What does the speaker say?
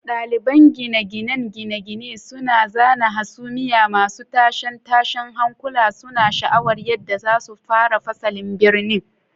Daliban gine-ginen gine-gine suna zana hasumiya masu tashe-tashen hankula, suna sha'awar yadda za su tsara fasalin birni.